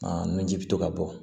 nunji bɛ to ka bɔ